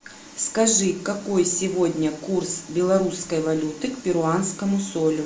скажи какой сегодня курс белорусской валюты к перуанскому солю